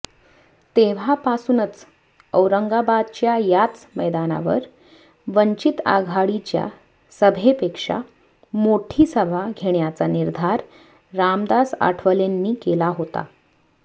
तेव्हापासूनच औरंगाबादच्या याच मैदानावर वंचित आघाडीच्या सभेपेक्षा मोठी सभा घेण्याचा निर्धार रामदास आठवलेंनी केला होता